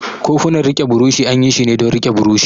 Kofunan rike buroshi an yi shi ne don rike buroshi.